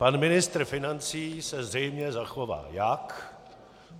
Pan ministr financí se zřejmě zachová jak?